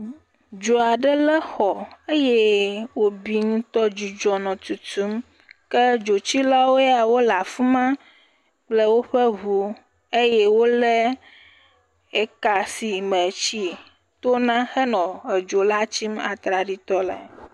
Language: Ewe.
Dzoa ɖe lé xɔ eye wo bi ŋutɔ, dzudzɔ nɔ tutum, ke dzotsilawo ya wole afima kple woƒe ʋu, eye wo lé eka si me tsi to na he nɔ edzola tsim atraɖi tɔ lae.